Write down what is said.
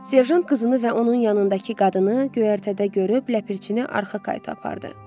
Serjant qızını və onun yanındakı qadını göyərtədə görüb ləpərcini arxa qayıa apardı.